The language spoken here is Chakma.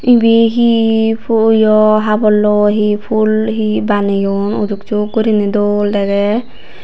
ibey hi puyo haborloi hi pul hi baneyon uduksuk gurinei dol degey.